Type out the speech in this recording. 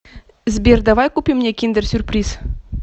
сбер давай купим мне киндер сюрприз